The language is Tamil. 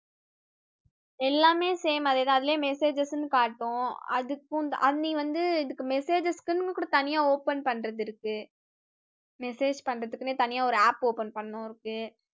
எல்லாமே same அதே தான் அதிலேயே messages ன்னு காட்டும் அதுக்கும் அஹ் நீ வந்து இதுக்கு messages க்குன்னு கூட தனியா open பண்றது இருக்கு message பண்றதுக்குன்னே தனியா ஒரு app open பண்ணணும் இருக்கு